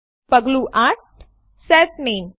પગલું ૮Set નામે